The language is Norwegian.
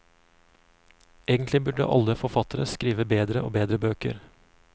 Egentlig burde alle forfattere skrive bedre og bedre bøker.